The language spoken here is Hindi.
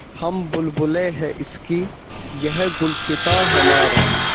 हम बुलबुलें हैं इसकी यह गुलसिताँ हमारा